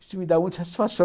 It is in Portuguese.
Isso me dá muita satisfação.